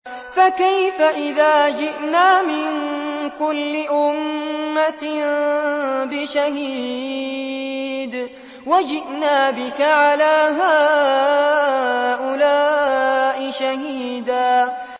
فَكَيْفَ إِذَا جِئْنَا مِن كُلِّ أُمَّةٍ بِشَهِيدٍ وَجِئْنَا بِكَ عَلَىٰ هَٰؤُلَاءِ شَهِيدًا